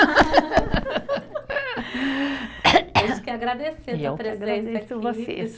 Acho que é agradecer a sua presença aqui.